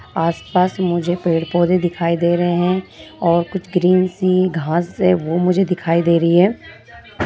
आस-पास मुझे पेड़-पौधे दिखाई दे रहे है और कुछ ग्रीन सी घास से है वो मुझे दिखाई दे रही है।